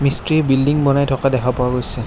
মিস্ত্ৰীয়ে বিল্ডিং বনাই থকা দেখা পোৱা গৈছে।